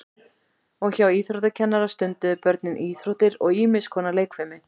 Og hjá íþróttakennara stunduðu börnin íþróttir og ýmis konar leikfimi.